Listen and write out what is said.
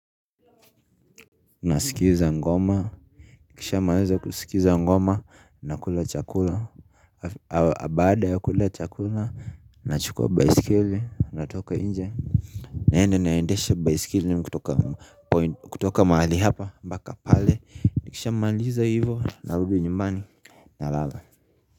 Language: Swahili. Unasikiza ngoma kisha maliza kusikiza ngoma na kula chakula baada ya kula chakula na chukua baisikeli natoka inje niende naendeeshe baisikeli kutoka mahali hapa mbaka pale Nikisha maliza hivo narudi nyumbani na lala.